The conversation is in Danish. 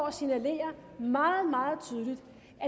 at signalere meget meget tydeligt